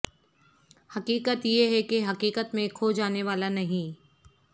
حقیقت یہ ہے کہ حقیقت میں کھو جانے والا نہیں